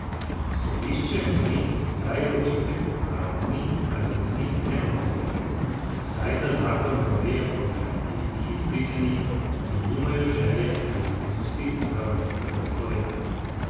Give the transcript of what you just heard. Sodišče meni, da je očitek o pravni praznini neutemeljen, saj da zakon ne ureja položaja tistih izbrisanih, ki nimajo želje ali možnosti za vrnitev v Slovenijo.